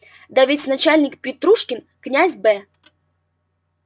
да ведь начальник петрушкин князь б